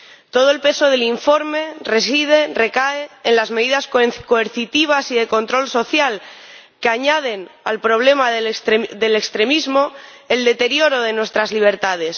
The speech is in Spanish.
Todo el peso del informe recae en las medidas coercitivas y de control social, que añaden al problema del extremismo el deterioro de nuestras libertades.